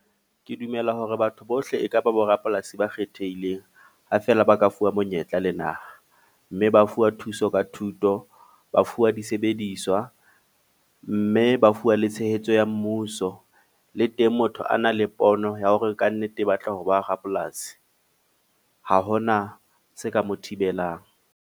Ke dumela hore batho bohle ekaba borapolasi ba kgethehileng. Ha fela ba ka fuwa monyetla le naha. Mme ba fuwa thuso ka thuto, ba fuwa disebediswa. Mme ba fuwa le tshehetso ya mmuso. Le teng motho a na le pono ya hore ka nnete e batla ho ba rapolasi. Ha hona se ka mo thibelang.